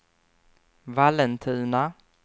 Vallentuna